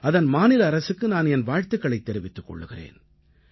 அதன் மாநில அரசுக்கு நான் என் வாழ்த்துக்களைத் தெரிவித்துக் கொள்கிறேன்